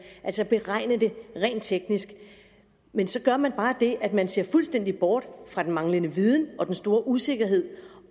altså beregne det rent teknisk men så gør man bare det at man ser fuldstændig bort fra den manglende viden og den store usikkerhed